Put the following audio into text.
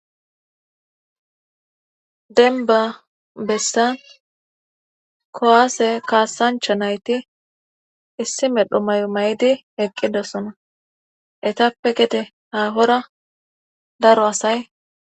denbba bessan kowaase kaasanchcha nayti issi medhu may'o may'di eqqidosona etappe gede haahora daro asay